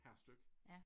Per styk